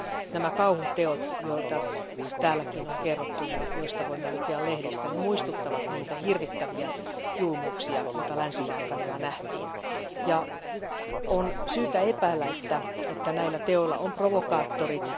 Nämä kauhuteot, joita täälläkin on kerrottu ja joista voimme lukea lehdistä, muistuttavat niitä hirvittäviä julmuuksia, joita Länsi Balkanilla nähtiin. On syytä epäillä, että näillä teoilla on provokaattorit.